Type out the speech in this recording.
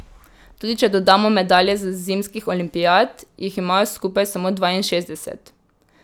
Tudi če dodamo medalje z zimskih olimpijad, jih imajo skupaj samo dvainšestdeset.